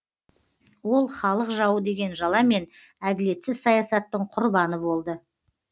ол халық жауы деген жаламен әділетсіз саясаттың құрбаны болды